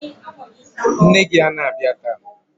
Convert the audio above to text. Nne gi ana bịa taa?